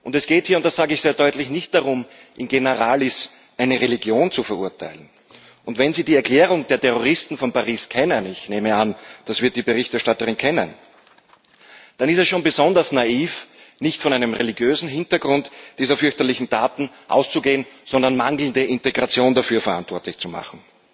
Es geht hier das sage ich sehr deutlich nicht darum, in generalis eine Religion zu verurteilen. Wenn Sie die Erklärung der Terroristen von Paris kennen ich nehme an, das wird die Berichterstatterin kennen dann ist es schon besonders naiv, nicht von einem religiösen Hintergrund dieser fürchterlichen Taten auszugehen, sondern mangelnde Integration dafür verantwortlich zu machen.